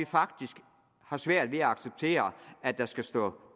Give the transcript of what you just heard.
faktisk svært ved at acceptere at der skal stå